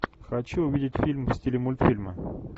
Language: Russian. хочу увидеть фильм в стиле мультфильмы